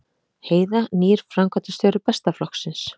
Heiða nýr framkvæmdastjóri Besta flokksins